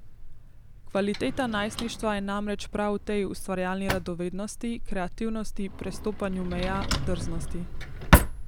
Kvaliteta najstništva je namreč prav v tej ustvarjalni radovednosti, kreativnosti, prestopanju meja, drznosti ...